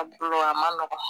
Abulo a ma nɔgɔn